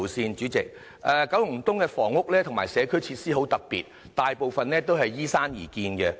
代理主席，九龍東的房屋和社區設施很特別，大部分是依山而建的。